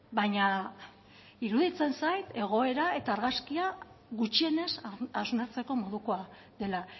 baina iruditzen zait egoera eta argazkia gutxienez hausnartzeko modukoa dela